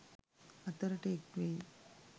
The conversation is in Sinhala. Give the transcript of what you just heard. අතරට එක් වෙයි.